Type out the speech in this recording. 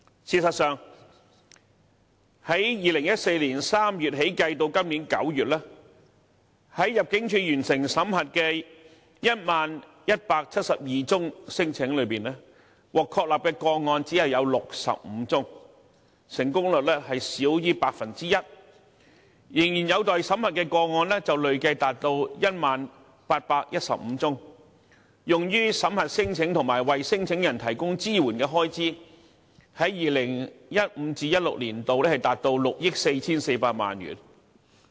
事實上 ，2014 年3月至今年9月計算，在入境處完成審核的 10,172 宗聲請中，獲確立的個案只有65宗，成功率少於 1%； 仍然有待審核的個案累計達 10,815 宗 ，2015-2016 年度用於審核聲請及為聲請人提供支援的開支達6億 4,400 萬元。